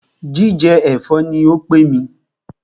Jíjẹ ẹ̀fọ́ ní o pé mí.